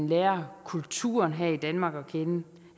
lærer kulturen her i danmark at kende